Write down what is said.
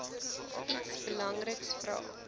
iets belangriks vra